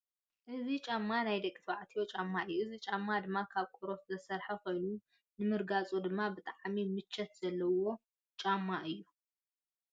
እዚ ጫማ ናይ ደቂ ተባዕትዮ ጫማ እዩ። እዚ ጫማ ድማ ካብ ቆርበት ዝተሰርሓ ኮይኑ ንምርጓፁ ድማ ብጣዕሚ ምቸት ዘለዎ ጫማ እዩ።